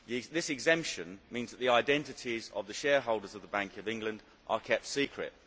This exemption means that the identities of the shareholders of the Bank of England are kept secret.